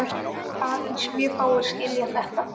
Aðeins mjög fáir skilja þetta.